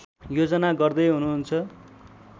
योजना गर्दैहुनुहुन्छ